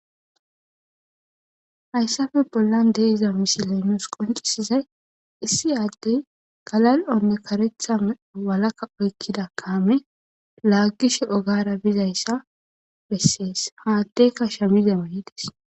Hayssafe bollan deiza misilenus qoncisizay issi aaddey galal'onne karetha meo walaka oykkida kaame laaggishe ogara bizayssa bessees haaddeyka shamize manides.